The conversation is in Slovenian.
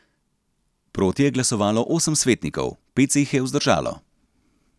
Proti je glasovalo osem svetnikov, pet se jih je vzdržalo.